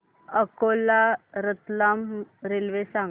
Akola Ratlam railway सांगा